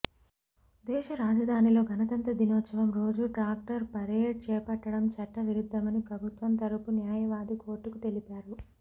దేశ రాజధానిలో గణతంత్ర దినోత్సవం రోజు ట్రాక్టర్ పరేడ్ చేపట్టడం చట్ట విరుద్ధమని ప్రభుత్వం తరఫు న్యాయవాది కోర్టుకు తెలిపారు